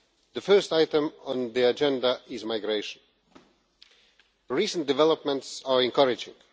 The first item on the agenda is migration. Recent developments are encouraging.